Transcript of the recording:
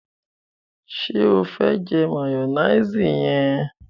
ṣe o fe jẹ mayonnaise yẹn?